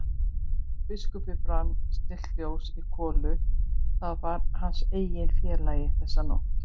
Hjá biskupi brann stillt ljós í kolu, það var hans eini félagi þessa nótt.